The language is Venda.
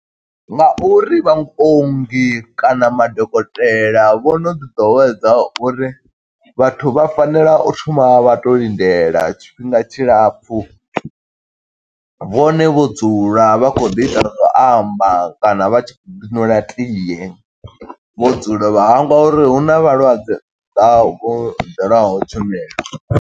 Nga uri vhaongi kana madokotela vho no ḓi ḓowedza uri vhathu vha fanela u thoma vha to lindela tshifhinga tshilapfu, vhone vho dzula vha khou ḓi ita zwa u amba kana vha tshi khou ḓi ṅwela tie vho dzula vha hangwa uri huna vhalwadze, vha vho ḓelaho tshumelo.